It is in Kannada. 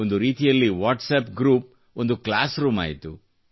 ಒಂದು ರೀತಿಯಲ್ಲಿ ವಾಟ್ಸಪ್ ಗ್ರೂಪ್ ಒಂದು ಕ್ಲಾಸ್ ರೂಮಾಯಿತು